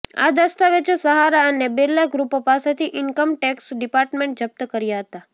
આ દસ્તાવેજો સહારા અને બિરલા ગ્રુપો પાસેથી ઇનકમ ટેક્સ ડિપાર્ટમેન્ટે જપ્ત કર્યા હતા